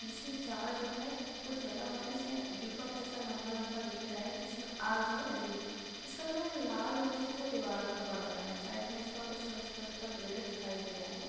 जिसमे चार जो है कुछ जला हुआ है जिसमे दीपक जैसा लम्बा लम्बा दिख रहा है जिसमे आग जो है लगी हुई है | उसका जो है लाल रोशनी जो दीवाल पे पड़ रहा है साइड में इसका कुछ छोटा छोटा पेड़ दिखाई दे रहा है ।